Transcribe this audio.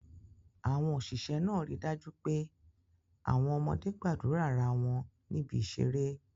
Àwọn òṣìṣẹ́ náà ríi dájú pé àwọn ọmọdé gbádùn ara wọn níbi ìṣeré